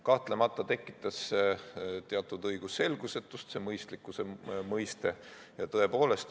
Kahtlemata tekitas see mõistlikkuse mõiste teatud õigusselgusetust.